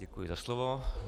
Děkuji za slovo.